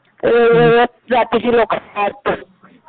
वेगवेगळ्या जातीचे लोकं असतात.